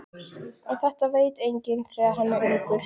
En þetta veit enginn þegar hann er ungur.